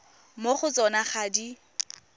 mo go tsona ga di